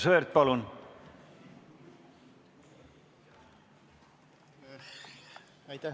Aivar Sõerd, palun!